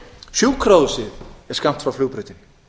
sjúkrahúsið er skammt frá flugbrautinni